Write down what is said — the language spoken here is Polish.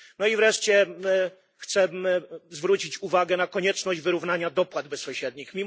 No i wreszcie chcę zwrócić uwagę na konieczność wyrównania dopłat bezpośrednich.